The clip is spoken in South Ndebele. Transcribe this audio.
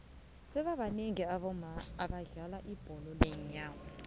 sebabanengi abaomama abodlala iibholo lenyawo